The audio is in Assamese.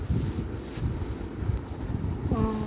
অ